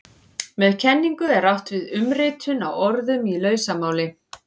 Með kenningu er átt við umritun á orðum í lausamáli.